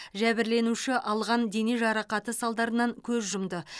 жәбірленуші алған дене жарақаты салдарынан көз жұмды